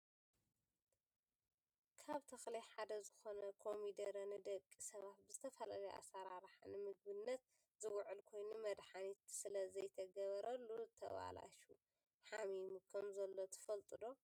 ካብ ተክሊ ሓደ ዝኮነ ኮሚደረ ንደቂ ሰባት ብዝተፈላለዩ ኣሰራርሓ ንምግብነት ዝውዕል ኮይኑ፣ መድሓኒት ስለ ዘይተገበረሉ ተባላሹ /ሓሚሙ/ ከምዘሎ ትፈልጡ ዶ?